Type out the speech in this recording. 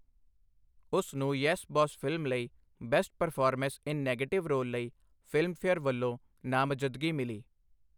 ਉਸ ਨੂੰ 'yes boss' film ਲਈ best performance in negative role ਲਈ ਫਿਲਮਫੇਅਰ ਵੱਲੋ ਨਾਮਜ਼ਦਗੀ ਮਿਲੀ।